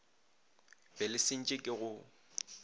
be le sentše ke go